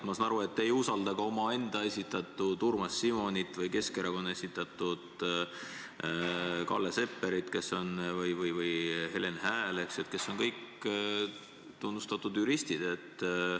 Ma saan aru, et te ei usalda ka omaenda esitatud Urmas Simonit ja Keskerakonna esitatud Kalle Sepperit või Helen Häält, kes on kõik tunnustatud juristid.